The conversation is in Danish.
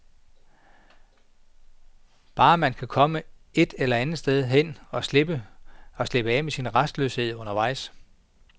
Bare man kan komme et andet sted hen og slippe af med sin rastløshed undervejs.